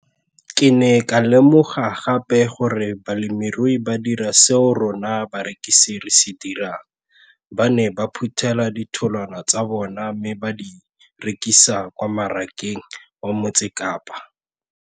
Ke ne ka lemoga gape gore balemirui ba dira seo rona barekisi re se dirang ba ne ba phuthela ditholwana tsa bona mme ba di rekisa kwa marakeng wa Motsekapa.